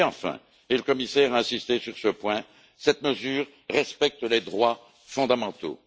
Et enfin et le commissaire a insisté sur ce point cette mesure respecte les droits fondamentaux.